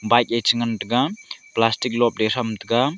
bike e chengan taiga plastic lobley thram taiga